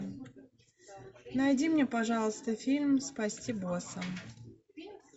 найди мне пожалуйста фильм спасти босса